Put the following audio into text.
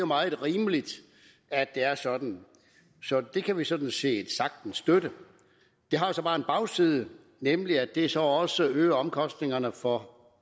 meget rimeligt at det er sådan det kan vi sådan set sagtens støtte det har så bare en bagside nemlig at det så også øger omkostningerne for